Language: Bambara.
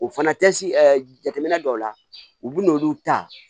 O fana tɛsi jateminɛ dɔw la u bɛ n'olu ta